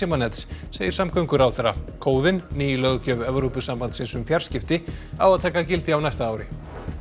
farsímanets segir samgönguráðherra ný löggjöf Evrópusambandsins um fjarskipti á að taka gildi á næsta ári